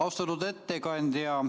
Austatud ettekandja!